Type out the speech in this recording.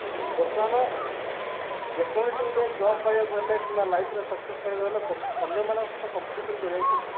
ବର୍ତ୍ତମାନ ଯେ କୌଣସି ଗୋଟେ job ପାଇବାକୁ ହେଲେ କିମ୍ବା life ରେ success ପାଇବା ହେଲେ ଅନ୍ୟ ମନଙ୍କ ସହ competition କରିବାକୁ ପଡୁଛି